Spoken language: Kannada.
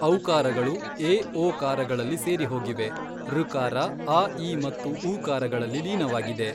ಔಕಾರಗಳು ಏ ಓಕಾರಗಳಲ್ಲಿ ಸೇರಿಹೋಗಿವೆ ಋಕಾರ ಅ ಇ ಮತ್ತು ಉಕಾರಗಳಲ್ಲಿ ಲೀನವಾಗಿದೆ.